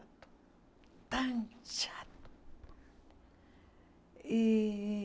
Tão chato. E